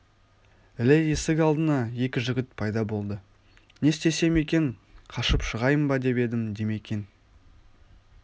іле есік алдына екі жігіт пайда болды не істесем екен қашып шығайын ба деп еді димекең